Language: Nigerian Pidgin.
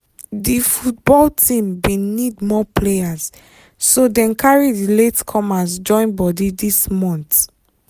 di football team bin need more players so dem carry di late comers join body this month